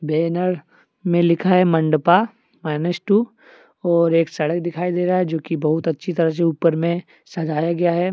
Banner में लिखा है मंडपा माइनस टू और एक सड़क दिखाई दे रहा है जोकि बहुत अच्छी तरह से ऊपर में सजाया गया है।